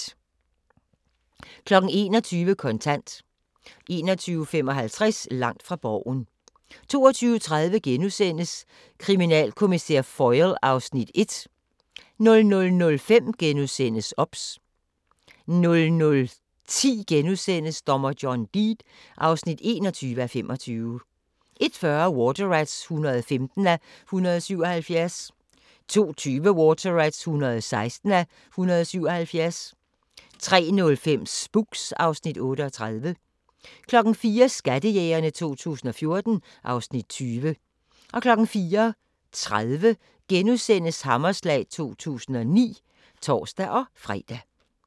21:00: Kontant 21:55: Langt fra Borgen 22:30: Kriminalkommissær Foyle (Afs. 1) 00:05: OBS * 00:10: Dommer John Deed (21:25)* 01:40: Water Rats (115:177) 02:20: Water Rats (116:177) 03:05: Spooks (Afs. 38) 04:00: Skattejægerne 2014 (Afs. 20) 04:30: Hammerslag 2009 *(tor-fre)